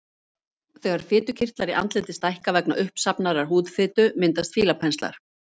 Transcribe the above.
Þegar fitukirtlar í andliti stækka vegna uppsafnaðrar húðfitu myndast fílapenslar.